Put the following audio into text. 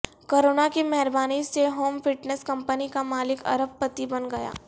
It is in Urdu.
کرونا کی مہربانی سے ہوم فٹنس کمپنی کا مالک ارب پتی بن گیا